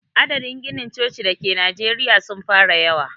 Adadin ginin coci da ke najeriya sun fara yawa.